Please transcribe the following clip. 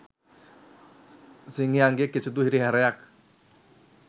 සිංහයන්ගෙන් කිසිදු හිරිහැරයක්